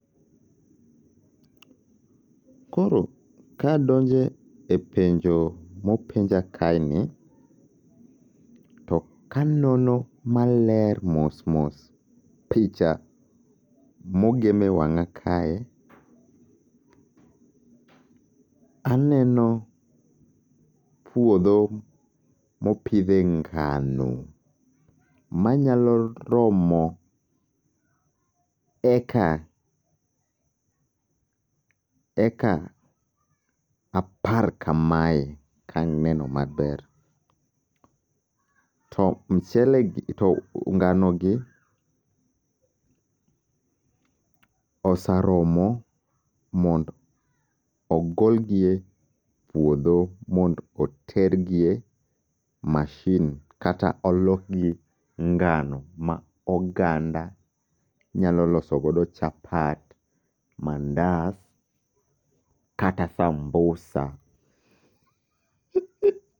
Koro kadonje e penjo mopenja kae ni, to kanono maler mos mos picha mogem e wang'a kae. Aneno puodho mopidhe ngano, manyalo romo eka eka apar kamae, kaneno maber. To mchele gi to ngano gi osaromo mond ogol gi e puodho mond otergie mashin kata olokgi ngano ma oganda nyalo losogo chapat, mandas, kata sambusa.